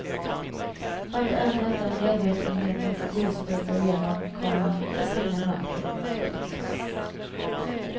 Vart än detta medvetenhetens ljus bryter igenom, komma försvinner mörkret. punkt